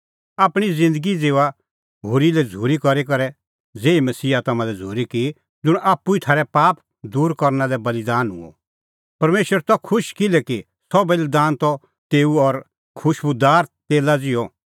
आपणीं ज़िन्दगी ज़िऊआ होरी लै झ़ूरी करी करै ज़ेही मसीहा हाम्हां लै झ़ूरी की ज़ुंण आप्पू ई थारै पाप दूर करना लै बल़ीदान हुअ परमेशर त खुश किल्हैकि सह बल़ीदान त तेऊ लै खुशबूदार तेला ज़िहअ